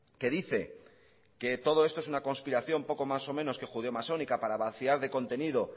que dice que todo esto es una conspiración poco más o menos que judeo masónica para vaciar de contenido